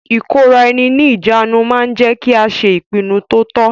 Ìkóraẹni ní ìjánu ma ń jẹ́ kí a ṣe ìpinnu to tọ́.